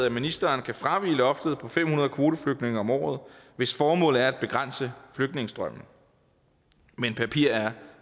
at ministeren kan fravige loftet på fem hundrede kvoteflygtninge om året hvis formålet er at begrænse flygtningestrømmen men papir er